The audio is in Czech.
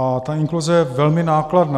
A ta inkluze je velmi nákladná.